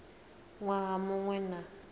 waha mu ṅ we na